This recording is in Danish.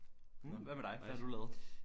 Nå hvad med dig hvad har du lavet?